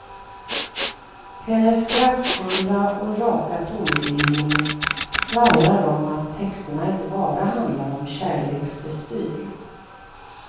Hennes kraftfulla och raka tonbildning skvallrar om att texterna inte bara handlar om kärleksbestyr.